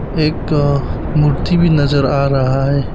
एक अ मूर्ति भी नजर आ रहा है।